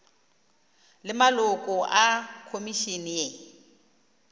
le maloko a khomišene ye